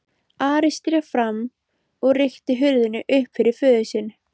Ari sté fram og rykkti hurðinni upp fyrir föður sinn.